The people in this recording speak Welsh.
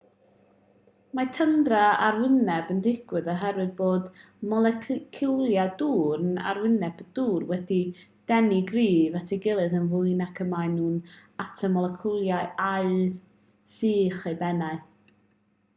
mae tyndra arwyneb yn digwydd oherwydd bod moleciwlau dŵr ar arwyneb y dŵr wedi'u denu'n gryf at ei gilydd yn fwy nac y maen nhw at y moleciwlau aer uwch eu pennau